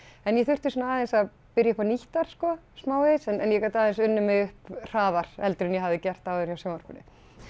en ég þurfti sko aðeins að byrja upp á nýtt þar smávegis en ég gat aðeins unnið mig upp hraðar heldur en ég hafði gert hjá sjónvarpinu